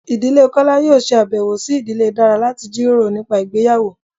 Ìdílé kola yóò se abèwo si ìdílé dara lati jiroro nipa ìgbéyàwó